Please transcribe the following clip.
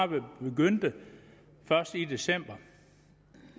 blev begyndt først i december